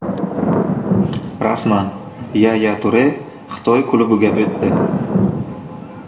Rasman: Yaya Ture Xitoy klubiga o‘tdi.